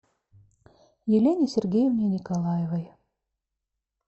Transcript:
елене сергеевне николаевой